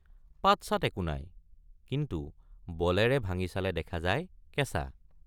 পাতচাত একো নাই কিন্তু বলেৰে ভাঙি চালে দেখা যায় কেচাঁ।